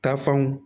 Tafanw